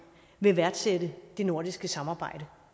vil værdsætte det nordiske samarbejde